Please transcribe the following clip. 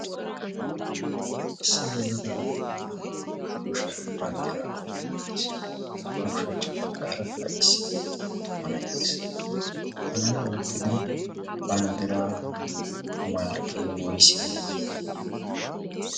issi yelaga attumanee ba kushiyan banddira oyqqi uttiis. abba ushachchwa baggaaraka isse tumanai'ees hanay oyqqido banddira malkkee woysee?